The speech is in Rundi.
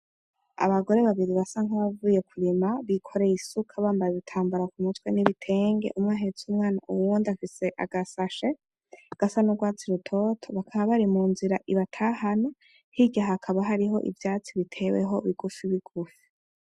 Abagore babiri basa nk'abavuye kurima, bikoreye isuka bambaye ibitambara ku mutwe n'ibitenge. Umwe ahetse umwana, uwundi afise agasashe gasa n'urwatsi rutoto, bakaba bari mu nzira ibatahana hirya hakaba hariho ivyatsi biteweho bigufi bigufi.